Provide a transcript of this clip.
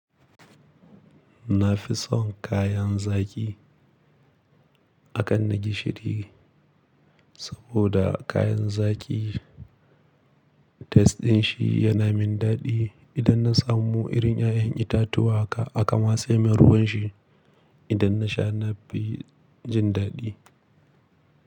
Na fi son kayan zaki a kan na gishiri saboda kayan zaki test din shi yana min daɗi. Idan na samu irin ƴaƴan itatuwa aka aka matse min ruwan shi. Idan na sha na fi jin daɗi.